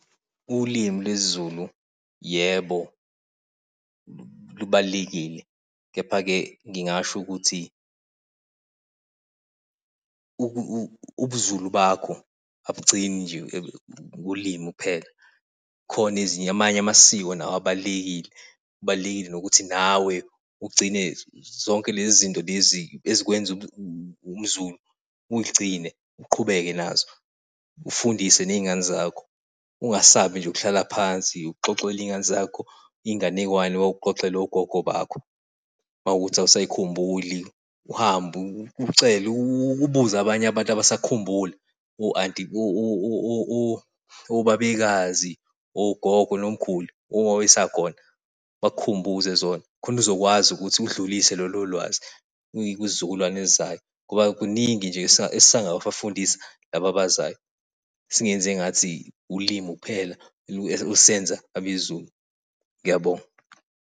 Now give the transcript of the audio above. Ulimi lwesiZulu yebo, lubalulekile, kepha-ke ngingasho ukuthi ubuZulu bakho abugcini nje kulimi kuphela khona ezinye namanye amasiko nawo abalulekile. Kubalulekile ukuthi nawe ugcine zonke lezi zinto lezi ezikwenza umZulu uyigcine uqhubeke nazo. Ufundise ney'ngane zakho. Ungasabi nje ukuhlala phansi uxoxele iy'ngane zakho iy'nganekwane owawuxoxelwa ugogo wakho. Uma kuwukuthi awusayikhumbuli uhambe, ucele ubuze abanye abantu asabakhumbula o-anti obabekazi, ogogo, nomkhulu osakhona bakukhumbuze zona. Khona uzokwazi ukuthi ulidlulise lolo lwazi kuyisizukulwane esizayo ngoba kuningi nje esingakabafundisa laba abazayo. Singenzi ngathi ulimi kuphela olusenza abeZulu. Ngiyabonga.